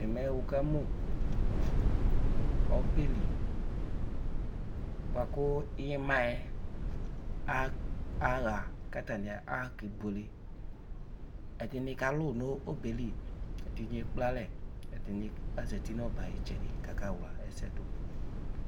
Ɛmɛ wʋƙamʋ ɔbɛli bʋa ƙʋ ɩmaƴɛ aɣa ƙʋ atanɩ aɣaƙebuele: ɛɖɩnɩ kalʋ nʋ ɔbɛ ƴɛ li, ɛɖɩnɩ eƙplealɛ, ɛɖɩnɩ azati nʋ ɔbɛ aƴ 'ɩtsɛɖɩ ƙʋ aƙawla ɛsɛɖʋ